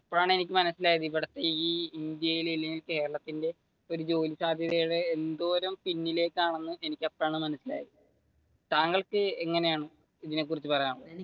ഇപ്പോഴാണ് എനിക്ക് മനസിലായത് ഇവിടത്തെ ഈ ഇന്ത്യയിൽ അല്ലെങ്കിൽ കേരളത്തിന്റെ ജോലി സാധ്യതയുടെ എന്തോരം പിന്നിലേക്കാണെന്ന് എനിക്ക് അപ്പോഴാണ് മനസിലായത്. താങ്കൾക്ക് എങ്ങനെയാണ് ഇതിനെ കുറിച്ച് പറയാനുള്ളത്?